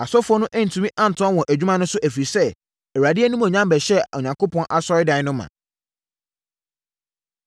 Asɔfoɔ no antumi antoa wɔn adwuma no so, ɛfiri sɛ, Awurade animuonyam bɛhyɛɛ Onyankopɔn Asɔredan no ma.